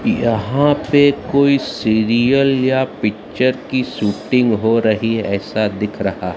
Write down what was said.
यहां पे कोई सीरियल या पिक्चर की शूटिंग हो रही है ऐसा दिख रहा--